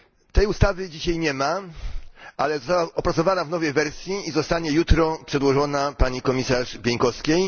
Tej ustawy dzisiaj nie ma, ale została opracowana w nowej wersji i zostanie jutro przedłożona pani komisarz Bieńkowskiej.